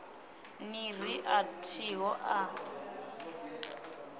ni ri a thiho a